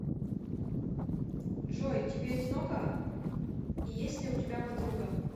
джой тебе одиноко и есть ли у тебя подруга